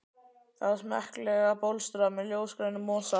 Það var smekklega bólstrað með ljósgrænum mosa.